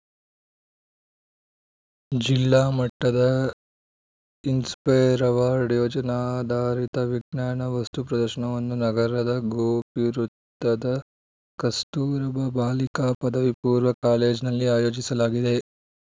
ಜಿಲ್ಲಾ ಮಟ್ಟದ inspire award ಯೋಜನಾಧಾರಿತ ವಿಜ್ಞಾನ ವಸ್ತು ಪ್ರದರ್ಶನವನ್ನು ನಗರದ ಗೋಪಿವೃತ್ತದ ಕಸ್ತೂರ್ಬಾ ಬಾಲಿಕಾ ಪದವಿಪೂರ್ವ ಕಾಲೇಜ್‌ನಲ್ಲಿ ಆಯೋಜಿಸಲಾಗಿದೆ